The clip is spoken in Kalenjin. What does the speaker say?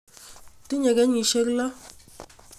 Tinye kenyisyek lo.